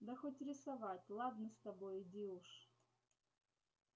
да хоть рисовать ладно с тобой иди уж